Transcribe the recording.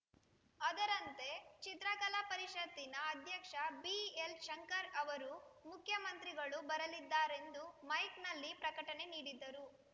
ಅದರಂತೆ ಚಿತ್ರಕಲಾ ಪರಿಷತ್ತಿನ ಅಧ್ಯಕ್ಷ ಬಿಎಲ್‌ಶಂಕರ್‌ ಅವರು ಮುಖ್ಯಮಂತ್ರಿಗಳು ಬರಲಿದ್ದಾರೆಂದು ಮೈಕ್‌ನಲ್ಲಿ ಪ್ರಕಟಣೆ ನೀಡಿದ್ದರು